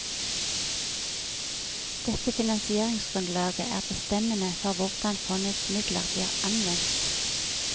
Dette finansieringsgrunnlaget er bestemmende for hvordan fondets midler blir anvendt.